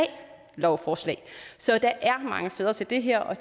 lovforslag så der er mange fædre til det her og